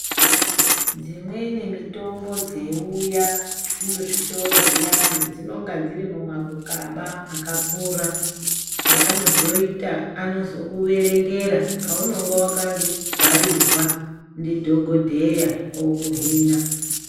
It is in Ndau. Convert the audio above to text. Dzimweni mitombo dzeiuya muzvitoro zviyani dzinonga dziri mumakukaba akakura yaanozoita ano zokuerengera younenge wakabharirwa ndidhokodheya okuhina.